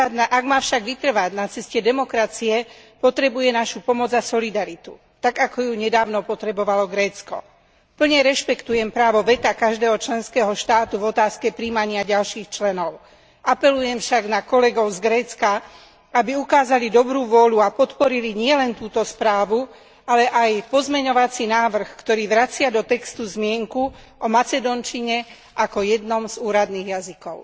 Ak má však vytrvať na ceste demokracie, potrebuje našu pomoc a solidaritu, tak ako ju nedávno potrebovalo Grécko. Plne rešpektujem právo veta každého členského štátu v otázke prijímania ďalších členov. Apelujem však na kolegov z Grécka, aby ukázali dobrú vôľu a podporili nielen túto správu, ale aj pozmeňovací návrh, ktorý vracia do textu zmienku o macedónčine ako jednom z úradných jazykov.